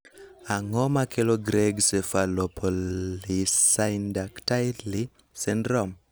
Ang'o makelo Greig cephalopolysyndactyly syndrome?